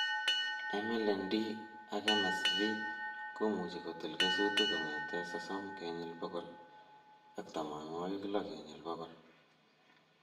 MLND ak MSV komuchi kotil kesutik kong'etee sosom kenyil bokol ak tamanwokik lo kenyil bokol